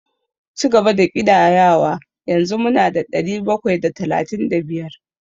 Cigaba da ƙidayawa, yanzu mu na da ɗari bakwai da talatin da biyar.